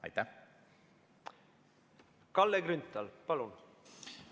Kalle Grünthal, palun!